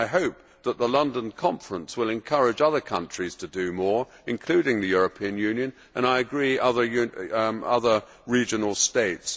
I hope that the London conference will encourage other countries to do more, including the European Union, and, I agree, other regional states.